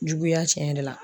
Juguya tiɲɛ yɛrɛ la